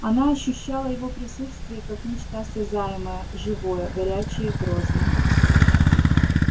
она ощущала его присутствие как нечто осязаемо-живое горячее грозное